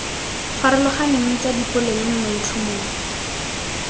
farologaneng tsa dipolelo mo maitlhomong